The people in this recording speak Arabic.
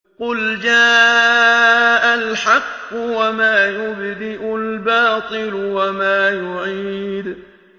قُلْ جَاءَ الْحَقُّ وَمَا يُبْدِئُ الْبَاطِلُ وَمَا يُعِيدُ